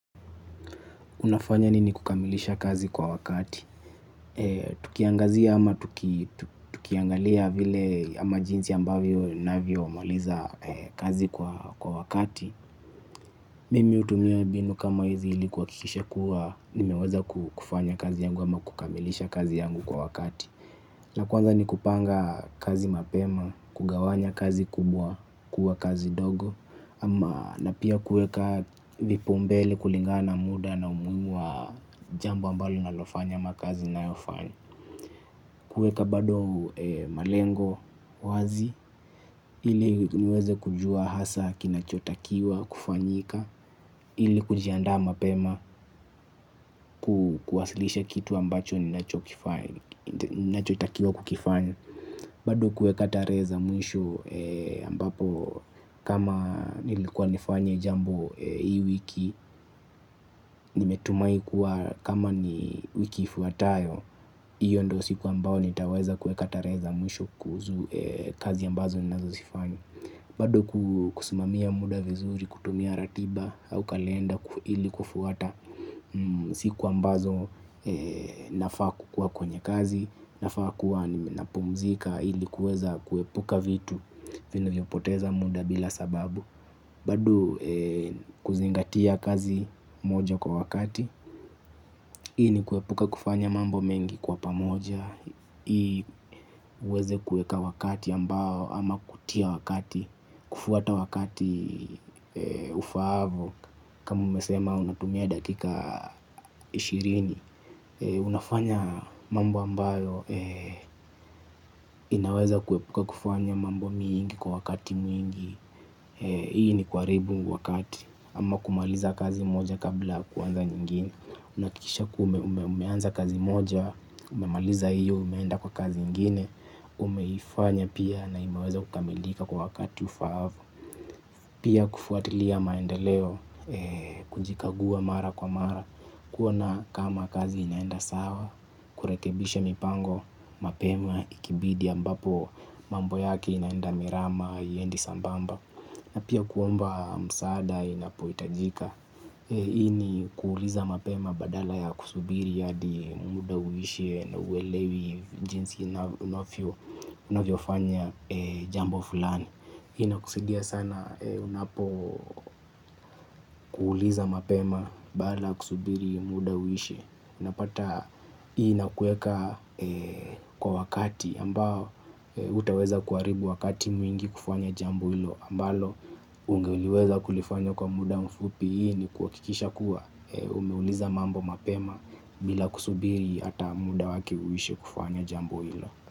Unafanya nini kukamilisha kazi kwa wakati. Tukiangazia ama tukiangalia vile ama jinsi ambavyo ninavyomaliza kazi kwa wakati. Mimi hutumia mbinu kama hizi ili kuhakikisha kuwa nimeweza kufanya kazi yangu ama kukamilisha kazi yangu kwa wakati. Ya kwanza ni kupanga kazi mapema, kugawanya kazi kubwa, kuwa kazi ndogo. Ama na pia kuweka vipaumbele kulingana muda na umuhimu wa jambo ambalo ninalofanya ama kazi ninayofanya. Kuweka bado malengo wazi ili niweze kujua hasa kinachotakiwa kufanyika. Ili kunjiandaa mapema kuwasilisha kitu ambacho ninachotakiwa kukifanya. Bado kuweka tarehe za mwisho ambapo kama nilikuwa nifanye jambo hii wiki, nimetumai kuwa kama ni wiki ifuatayo, hiyo ndio siku ambao nitaweza kuweka tarehe za mwisho kuhusu kazi ambazo ninazozifanya. Bado kusimamia muda vizuri, kutumia ratiba au kalenda ili kufuata siku ambazo nafaa kukuwa kwenye kazi, nafaa kuwa napumzika ili kuweza kuepuka vitu vinavyopoteza muda bila sababu. Bado kuzingatia kazi moja kwa wakati. Hii ni kuepuka kufanya mambo mengi kwa pamoja ili huweze kuweka wakati ambao ama kutia wakati. Kufuata wakati ufaavyo. Kama umesema unatumia dakika ishirini unafanya mambo ambayo inaweza kuepuka kufanya mambo mengi kwa wakati mwingi. Hii ni kuharibu wakati. Ama kumaliza kazi moja kabla kuanza nyingine. Unahakikisha kuwa umeanza kazi moja, umemaliza hiyo, umeenda kwa kazi ingine, umeifanya pia na imeweza kukamilika kwa wakati ufaavyo. Pia kufuatilia maendeleo, kujikagua mara kwa mara, kuona kama kazi inaenda sawa, kurekebisha mipango, mapema, ikibidi ambapo, mambo yake inaenda mrama, haiendi sambamba. Na pia kuomba msaada inapohitajika. Hii ni kuuliza mapema badala ya kusubiri hadi muda uishie. Na huelewi jinsi unavyofanya jambo fulani. Hii inakusidia sana unapo uliza mapema badala ya kusubiri muda uishe. Unapata hii inakuweka kwa wakati ambao utaweza kuharibu wakati mwingi kufanya jambo hilo ambalo ungeliweza kulifanya kwa muda mfupi ili kuhakikisha kuwa umeuliza mambo mapema bila kusubiri hata muda wake huishe kufanya jambo hilo.